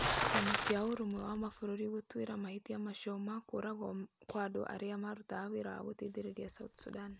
Kĩama kĩa Ũrũmwe wa Mabũrũri gũtuĩra mahĩtia macio ma kũũragwo kwa andũ arĩa marutaga wĩra wa gũteithĩrĩria South Sudan